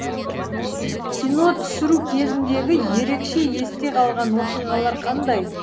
кино түсіру кезіндегі ерекше есте қалған оқиғалар қандай